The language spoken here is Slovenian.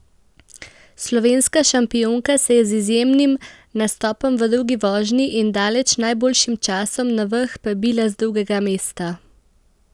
Slovenska šampionka se je z izjemnim nastopom v drugi vožnji in daleč najboljšim časom na vrh prebila z drugega mesta.